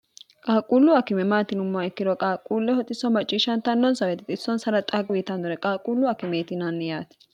qaaqquullu akime maat iyinummoha ikkiro qaaqquulle xisso macciishshantanno xisso xaaga uytannore qaaqquullu akimeeti yinanni yaate